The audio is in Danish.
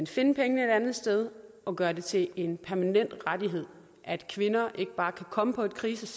finde pengene et andet sted og gøre det til en permanent rettighed at kvinder ikke bare kan komme på et krisecenter